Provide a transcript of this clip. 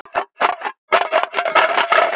Það kemur sól og logn.